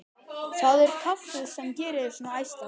Það er kaffið sem gerir þig svona æstan.